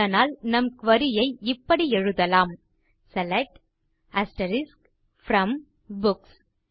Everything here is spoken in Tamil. அதனால் நம் குரி ஐ இப்படி எழுதலாம் செலக்ட் ப்ரோம் புக்ஸ்